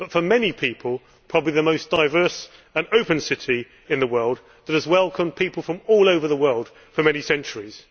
For many people it is probably the most diverse and open city in the world, which has welcomed people from all over the world for many centuries.